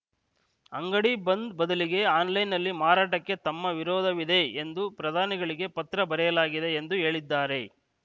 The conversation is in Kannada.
ಅಂಗಡಿ ಬಂದ್‌ ಬದಲಿಗೆ ಆನ್‌ಲೈನ್‌ನಲ್ಲಿ ಮಾರಾಟಕ್ಕೆ ತಮ್ಮ ವಿರೋಧವಿದೆ ಎಂದು ಪ್ರಧಾನಿಗಳಿಗೆ ಪತ್ರ ಬರೆಯಲಾಗಿದೆ ಎಂದು ಹೇಳಿದ್ದಾರೆ